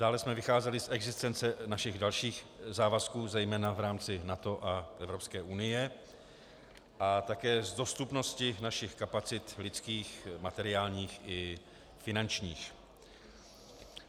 Dále jsme vycházeli z existence našich dalších závazků, zejména v rámci NATO a EU, a také z dostupnosti našich kapacit lidských, materiálních i finančních.